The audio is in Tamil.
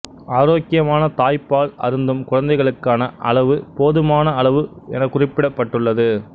ஆரோக்கியமான தாய்ப்பால் அருந்தும் குழந்தைகளுக்கான அளவு போதுமான அளவு எனக்குறிப்பிடப்பட்டுள்ளது